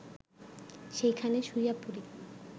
সেইখানে শুইয়া পড়ি